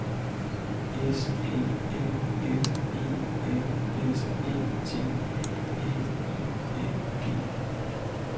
S A M M E N S Æ T N I N G